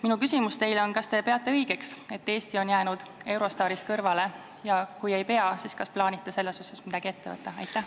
Minu küsimus on: kas te peate õigeks, et Eesti on jäänud Eurostarsist kõrvale, ja kui ei pea, kas plaanite selles osas midagi ette võtta?